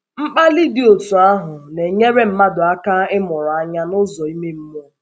Mkpàlì dị otú ahụ, na-enyèrè mmàdụ aka ịmụrụ anya n’ụ̀zọ ime mmụọ.